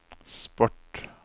sport